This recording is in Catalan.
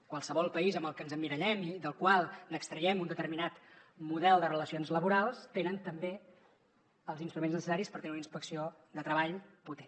qualsevol país amb el que ens emmirallarem i del qual n’extraiem un determinat model de relacions laborals té també els instruments necessaris per tenir una inspecció de treball potent